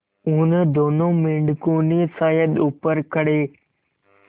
उन दोनों मेढकों ने शायद ऊपर खड़े